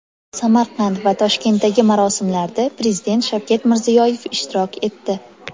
Samarqand va Toshkentdagi marosimlarda Prezident Shavkat Mirziyoyev ishtirok etdi.